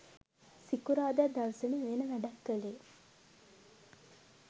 සිකුරාදා දවසම වෙන වැඩක් කලේ